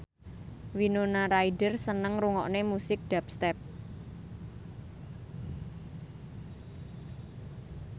Winona Ryder seneng ngrungokne musik dubstep